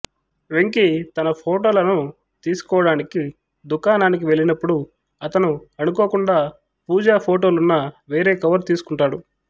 వెంకీ తన ఫోటోలను తీసుకోవటానికి దుకాణానికి వెళ్ళినప్పుడు అతను అనుకోకుండా పూజ ఫోటోలున్న వేరే కవరు తీసుకుంటాడు